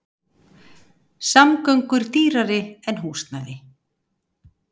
Samgöngur dýrari en húsnæði